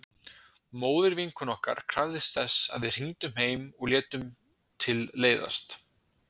Móðir vinkonu okkar krafðist þess að við hringdum heim og við létum til leiðast.